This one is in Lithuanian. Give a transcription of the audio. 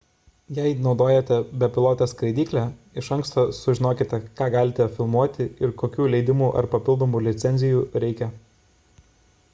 jei naudojate bepilotę skraidyklę iš anksto sužinokite ką galite filmuoti ir kokių leidimų ar papildomų licencijų reikia